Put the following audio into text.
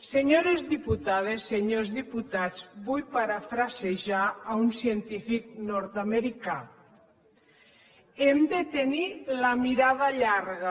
senyores diputades senyors diputats vull parafrasejar un científic nordamericà hem de tenir la mirada llarga